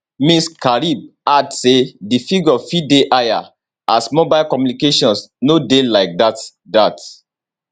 ms karib add say di figure fit dey higher as mobile communications no dey like dat dat